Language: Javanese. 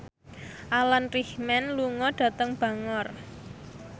Alan Rickman lunga dhateng Bangor